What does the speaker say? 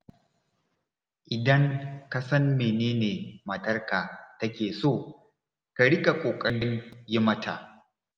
Idan ka san mene ne matarka take so, ka riƙa ƙoƙarin yi mata.